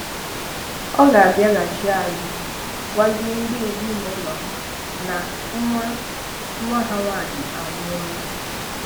Ọ ga-abìàghachì azụ gwàzie ndị ezinàụlọ ha na nwa nwa ha nwanyị anwụọlà